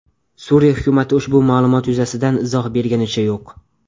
Suriya hukumati ushbu ma’lumot yuzasidan izoh berganicha yo‘q.